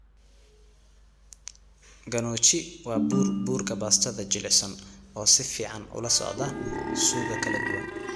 Gnocchi waa bur burka baastada jilicsan oo si fiican ula socda suugo kala duwan.